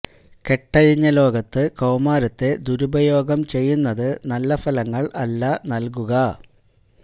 കെട്ടഴിഞ്ഞ ലോകത്ത് കൌമാരത്തെ ദുരുപയോഗം ചെയ്യുന്നത് നല്ല ഫലങ്ങള് അല്ല നല്കുക